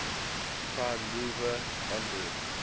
prime mover onboard